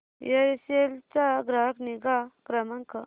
Aircel चा ग्राहक निगा क्रमांक